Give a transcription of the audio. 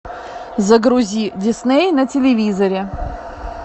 загрузи дисней на телевизоре